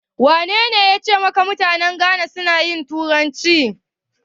Wanene yace maka mutanen Ghana suna yin turanci?